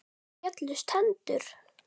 Mér féllust hendur.